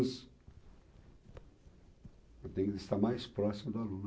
Eu tenho que estar mais próximo do aluno